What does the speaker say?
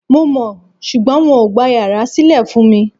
Mo mọ̀, ṣùgbọ́n wọn ò gba yàrá sílè fún mi Ì